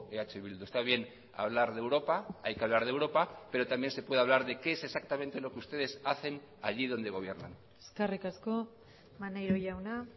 eh bildu está bien hablar de europa hay que hablar de europa pero también se puede hablar de qué es exactamente lo que ustedes hacen allí donde gobiernan eskerrik asko maneiro jauna